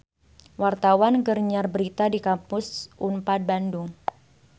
Wartawan keur nyiar berita di Kampus Unpad Bandung